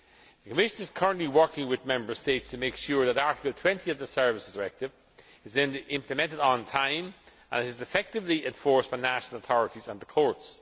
The Commission is currently working with Member States to make sure that Article 20 of the Services Directive is implemented on time and is effectively enforced by national authorities and the courts.